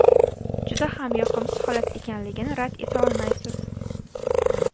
Juda ham yoqimsiz holat ekanligini rad eta olmaysiz.